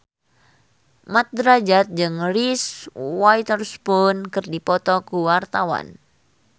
Mat Drajat jeung Reese Witherspoon keur dipoto ku wartawan